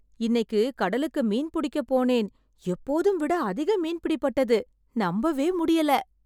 இன்னைக்கு கடலுக்கு மீன் புடிக்க போனேன் , எப்போதும் விட அதிக மீன் பிடி பட்டது, நம்பவே முடியல.